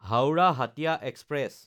Howrah Hatia express